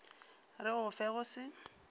re go fe go se